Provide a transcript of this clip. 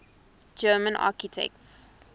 german architects